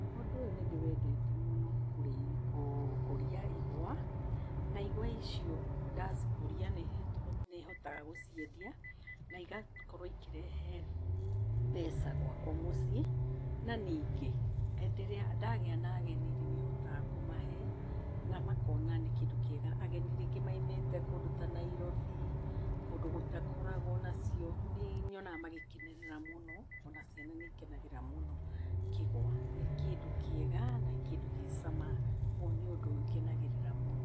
Ũndũ ũyũ nĩ ndĩwendete mũno, gũkũria igwa. Na igwa icio ndacikũria nĩtũhotaga, nĩhotaga gũciendia na igakorwo ikĩrehe mbeca gwakwa mũciĩ. Na ningĩ, hĩndĩ ĩrĩa ndagĩa na ageni nĩhotaga kũmahe na makona nĩ kĩndũ kĩega. Ageni rĩngĩ maumĩte kũndũ ta Nairobi, kũndũ gũtakoragwo nacio. Nĩnyonaga magĩkenerera mũno, ona ciana nĩikenagĩrĩra mũno kĩgwa. Nĩ kĩndũ kĩega na kĩndũ gĩcama, nĩ ũndũ ngenagĩrĩra mũno.